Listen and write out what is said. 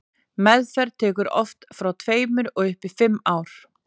meðferð tekur oft frá tveimur og upp í fimm ár